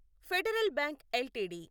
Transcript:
federal Bank LTD